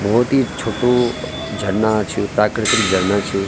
बहौत ही छोटू झरना छ प्राकृतिक झरना छ।